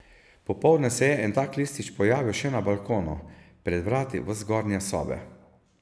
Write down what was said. Popoldne se je en tak listič pojavil še na balkonu, pred vrati v zgornje sobe.